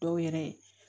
Dɔw yɛrɛ